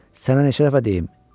Sənə neçə dəfə deyim?